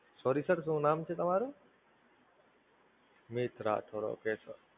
Sorry Sir શું નામ છે તમારું? મીત રાઠોડ Sir.